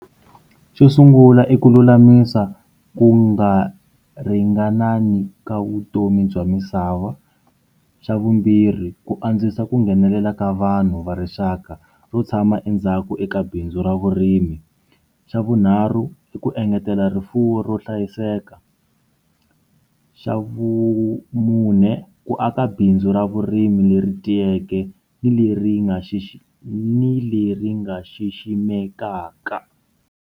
Xo sungula i ku lulamisa ku nga ringanangi ka vutomi bya misava xa vumbirhi ku antswisa ku nghenelela ka vanhu va rixaka ro tshama endzhaku eka bindzu ra vurimi xa vunharhu i ku engetela rifuwo ro hlayiseka xa vumune ku aka bindzu ra vurimi leri tiyeke ni leri nga xi xi ni leri nga xiximekaka.